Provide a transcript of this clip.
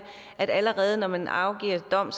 at allerede når man afgiver dom